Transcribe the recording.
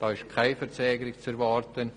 Es ist keine Verzögerung zu erwarten.